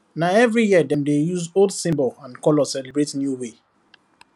na every year dem dey use old symbol and color celebrate new way